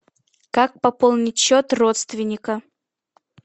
как пополнить счет родственника